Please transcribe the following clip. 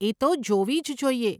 એ તો જોવી જ જોઈએ.